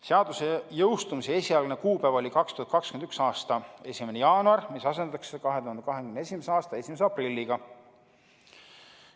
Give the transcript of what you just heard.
Seaduse jõustumise esialgne kuupäev oli 2021. aasta 1. jaanuar, mis asendatakse 2021. aasta 1. aprilliga.